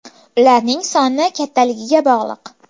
Ularning soni kattaligiga bog‘liq.